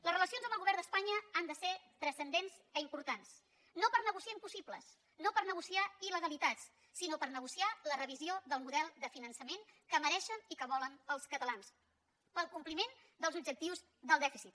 les relacions amb el govern d’espanya han de ser transcendents i importants no per negociar impossibles no per negociar ilsinó per negociar la revisió del model de finançament que mereixen i que volen els catalans per al compliment dels objectius del dèficit